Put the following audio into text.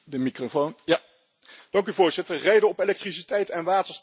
Voorzitter, rijden op elektriciteit en waterstof, dat heeft de toekomst.